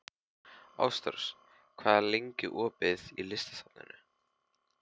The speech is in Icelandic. Ástrós, hvað er lengi opið í Listasafninu?